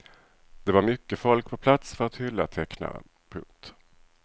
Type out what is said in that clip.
Det var mycket folk på plats för att hylla tecknaren. punkt